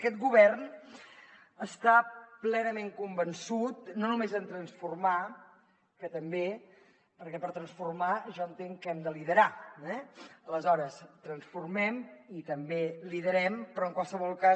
aquest govern està plenament convençut no només de transformar que també perquè per transformar jo entenc que hem de liderar eh aleshores transformem i també liderem però en qualsevol cas